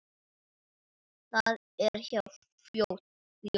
Það er hjá fljóti.